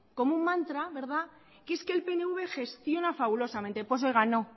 como un mantra verdad que es que el pnv gestiona fabulosamente pues oiga no